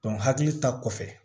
hakili ta kɔfɛ